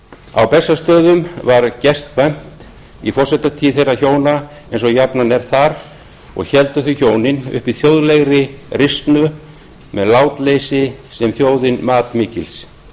á bessastöðum var gestkvæmt í forsetatíð þeirra hjóna eins og jafnan er þar og héldu þau hjónin uppi þjóðlegri risnu með látleysi sem þjóðin mat mikils